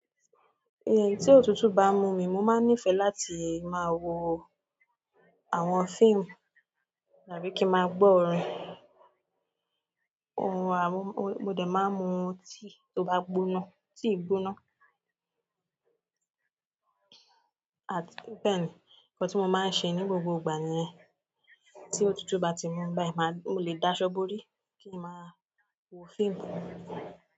Tí òtútù bá mú mi, mo máa nífẹ̀ẹ́ láti máa wo àwọn fíìmù tàbí kí n máa gbọ́ orin. Orin, mo dé máa mu tea tó bá gbóná, tea gbóná. At bẹ́ẹ̀ni, nǹkan tí mo máa n ṣe ní gbogbo ìgbà nìyẹn. Tí òtútù bá ti mú mi báyìí, màá, mo lè dáṣọ bóri kí n máa wo fíìmù.